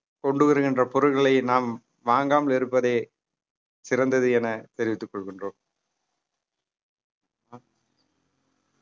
கொண்டு வருகின்ற பொருட்கள நாம் வாங்காமல் இருப்பதே சிறந்தது என தெரிவித்துக் கொள்கின்றோம்